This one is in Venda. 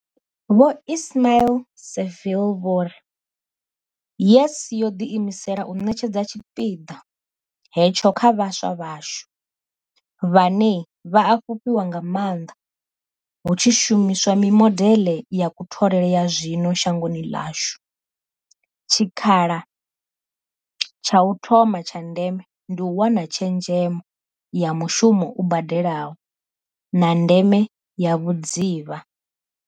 Vho Ismail-Saville vho ri, YES yo ḓiimisela u ṋetshedza tshipiḓa hetsho kha vhaswa vhashu, vhane vha a fhufhiwa nga maanḓa hu tshi shumi swa mimodeḽe ya kutholele ya zwino shangoni ḽashu, tshikha la tsha u thoma tsha ndeme ndi u wana tshezhemo ya mushumo u badelaho, na ndeme ya vhudzivha.